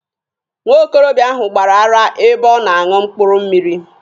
Nwa okorobịa ahụ gbara ara ebe ọ na-aṅụ mkpụrụ mmịrị.